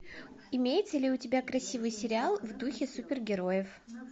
имеется ли у тебя красивый сериал в духе супергероев